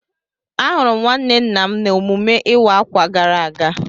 Ahụrụ m nwanne nna m n'emume ịwa ákwà gara aga